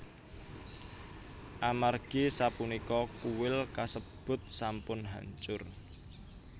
Amargi sapunika kuil kasebut sampun hancur